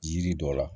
Yiri dɔ la